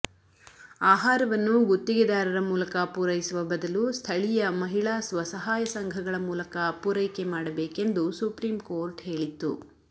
ಆಹಾರವನ್ನು ಗುತ್ತಿಗೆದಾರರ ಮೂಲಕ ಪೂರೈಸುವ ಬದಲು ಸ್ಥಳೀಯ ಮಹಿಳಾ ಸ್ವಸಹಾಯ ಸಂಘಗಳ ಮೂಲಕ ಪೂರೈಕೆ ಮಾಡಬೇಕೆಂದು ಸುಪ್ರೀಂ ಕೋರ್ಟ್ ಹೇಳಿತ್ತು